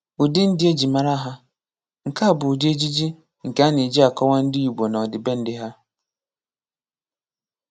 Ụdị ndị ejị mara ha: Nke a bụ ụdị ejiji nke ana-eji akọwa ndị Igbo na ọdịbendị ha.